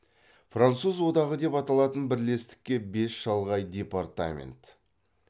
француз одағы деп аталатын бірлестікке бес шалғай департамент